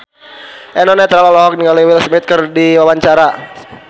Eno Netral olohok ningali Will Smith keur diwawancara